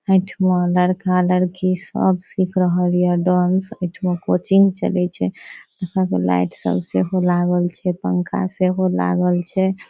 ए ठमा लड़का-लड़की सब सीख रहल या डांस ए ठमा कोचिंग चले छै आहां के लाइट सब सेहो लागल छै पंखा सेहो लागल छै।